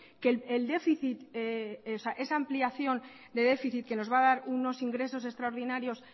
que el déficit esa ampliación de déficit que nos va a dar unos ingresos extraordinarios